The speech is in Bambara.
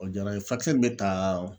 O diyara n ye furakisɛ min bɛ taa